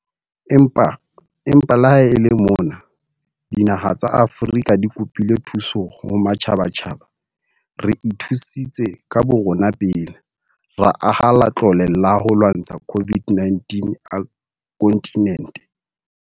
Empa le ha e le mona dinaha tsa Afrika di kopile thuso ho matjhabatjhaba, re ithusitse ka borona pele - ra aha Latlole la ho lwantsha COVID-19 a kontinente.